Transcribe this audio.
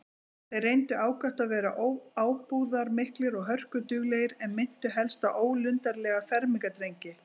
Þeir reyndu ákaft að vera ábúðarmiklir og hörkulegir, en minntu helst á ólundarlega fermingardrengi.